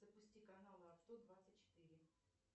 запусти канал авто двадцать четыре